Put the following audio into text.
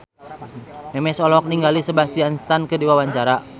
Memes olohok ningali Sebastian Stan keur diwawancara